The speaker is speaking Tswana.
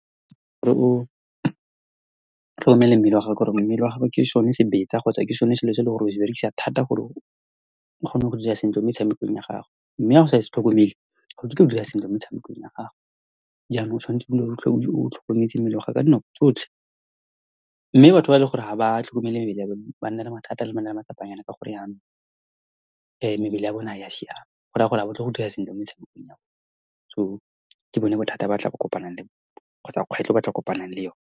tlhokomele mmele wa gago, ka gore mmele wa gago ke sone sebetsa kgotsa ke sone selo se e leng gore o se berekisa thata gore o kgone go dira sentle mo tshamekong ya gago. Mme ha o sa se tlhokomele, ha o kitla o dira sentle mo metshamekong ya gago. Jaanong, tshwanetse go dula o tlhokometse mmele wa gago ka dinako tsotlhe. Mme batho ba e leng gore ha ba tlhokomele mebele ya bone, ba nna le mathata le matsapanyana, ka gore jaanong mebele ya bone ga ya siama. Go raya gore ha batle go dira sentle mo metshamekong ya bone. So, ke bone bothata go kopanang le bone kgotsa kgwetlho e batlileng go kopanang le yone.